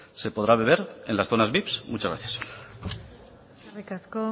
se podrá beber en las zonas vips muchas gracias eskerrik asko